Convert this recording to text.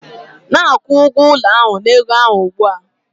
Na-akwụ ụgwọ ụlọ na ego ahụ ugbu a